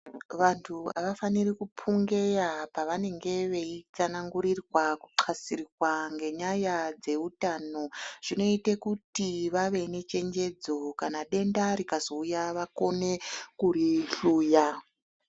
Vanthu hafaniri kupungeya pavanenge vachitsanangurirwa kuxasirwa ngenyaya dzeutano zvinoita kuti vave nechenjedzo kana denda rikazouya vakone kurihluya.